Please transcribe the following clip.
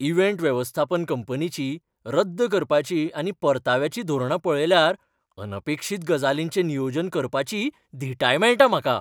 Event वेवस्थापन कंपनीची रद्द करपाची आनी परताव्याची धोरणां पळयल्यार अनपेक्षीत गजालींचें नियोजन करपाची धिटाय मेळटा म्हाका.